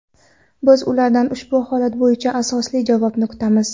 Biz ulardan ushbu holat bo‘yicha asosli javobni kutamiz.